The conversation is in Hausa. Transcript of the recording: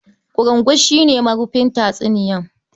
"Ƙurunƙus" shi ne marufin tatsuniya.